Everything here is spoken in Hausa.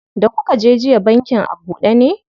Da kuka je jiya bankin a buɗe ne?